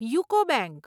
UCO bank